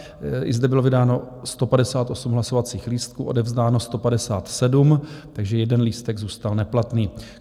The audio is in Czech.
I zde bylo vydáno 158 hlasovacích lístků, odevzdáno 157, takže jeden lístek zůstal neplatný.